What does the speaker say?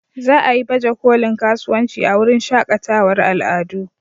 Za a yi bajekolin kasuwanci a wurin shakatawar al'adu.